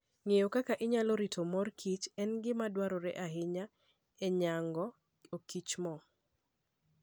Ng'eyo kaka inyalo rit mor kich en gima dwarore ahinya e nyago okichmo.